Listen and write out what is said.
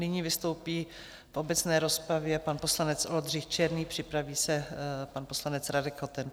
Nyní vystoupí v obecné rozpravě pan poslanec Oldřich Černý, připraví se pan poslanec Radek Koten.